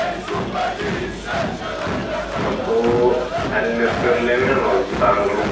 അപ്പൊ അൽ-നസറിൽ തന്നെയാണോ താങ്കളും?